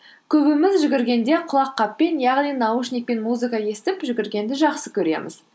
көбіміз жүгіргенде құлаққаппен яғни наушникпен музыка естіп жүгіргенді жақсы көреміз